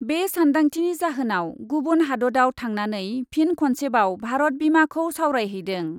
बे सान्दांथिनि जाहोनाव गुबुन हादतआव थांनानै फिन खनसेबाव भारत बिमाखौ सावरायहैदों ।